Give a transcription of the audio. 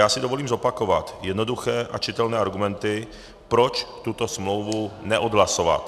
Já si dovolím zopakovat jednoduché a čitelné argumenty, proč tuto smlouvu neodhlasovat.